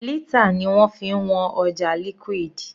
Lítà ni wọ́n fi ń wọn ọjà liquid.